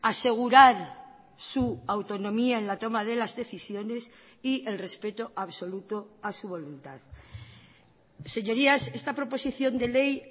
asegurar su autonomía en la toma de las decisiones y el respeto absoluto a su voluntad señorías esta proposición de ley